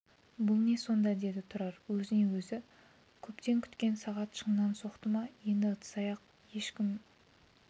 бұл не сонда деді тұрар өзіне өзі көптен күткен сағат шыннан соқты ма енді ыдыс-аяқ ешкім